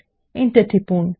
enter টিপুন